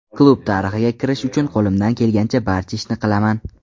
Klub tarixiga kirish uchun qo‘limdan kelgan barcha ishni qilaman.